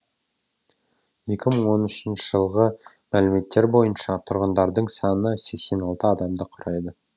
екі мың оныншы жылғы мәліметтер бойынша тұрғындарының саны сексен алты адамды құрайды